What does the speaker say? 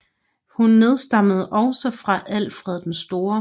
Hun nedstammede også fra Alfred den Store